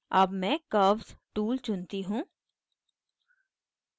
अब मैं curves tool चुनती हूँ